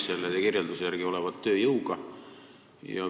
Selle kirjelduse järgi näib tegemist olevat tööjõuga.